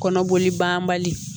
Kɔnɔboli banbali